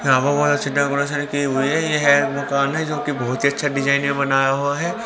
यहां पर बहुत अच्छे डेकोरेशन की हुई है ये मकान है जो कि बहुत ही अच्छा डिजाइन बनाया हुआ है।